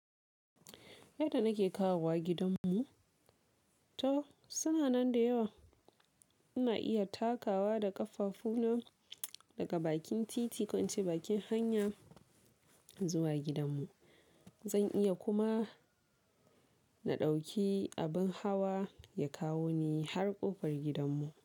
Yadda nake kawowa gidan mu, to suna nan da yawa ina iya takawa da ƙafafu na daga bakin titi ko ince bakin hanya zuwa gidan mu. Zan iya kuma na ɗauki abin hawa ya kawo ni har ƙofar gidan mu.